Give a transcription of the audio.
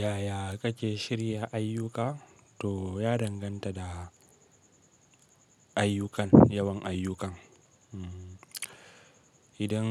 Yaya kake shirya ayyuka to ya danganta da ayyukan, yawan ayyukan. Idan